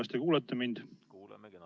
Kas te kuulete mind?